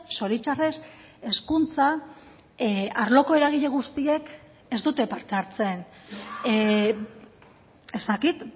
zoritzarrez hezkuntza arloko eragile guztiek ez dute parte hartzen ez dakit